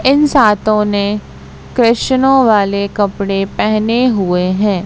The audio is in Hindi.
इन सातों ने कृष्णो वाले कपड़े पहने हुए है।